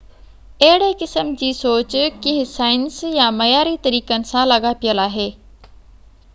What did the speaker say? اهڙي قسم جي سوچ ڪنهن سائنس يا معياري طريقن سان لاڳاپيل آهي